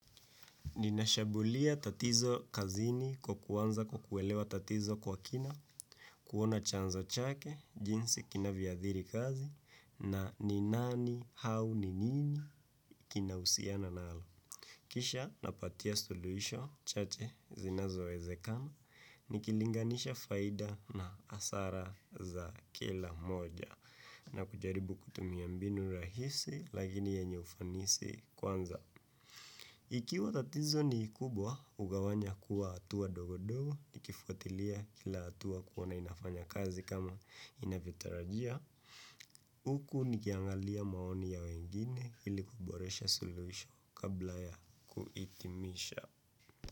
Ninashambulia tatizo kazini kwa kuanza kwa kuelewa tatizo kwa kina, kuona chanzo chake, jinsi kina vyoathiri kazi, na ni nani au ni nini kina husiana nalo. Kisha napatia suluhiso chache zinazowezekana, nikilinganisha faida na hasara za kila moja, na kujaribu kutumia mbinu rahisi, lakini yenye ufanisi kwanza. Ikiwa tatizo ni kubwa, hugawanya kuwa hatua ndogo ndogo, nikifuatilia kila hatua kuona inafanya kazi kama inavyotarajiwa. Huku nikiangalia maoni ya wengine ili kuboresha soluhisho kabla ya kuhitimisha.